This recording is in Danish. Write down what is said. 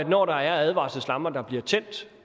når advarselslamperne bliver tændt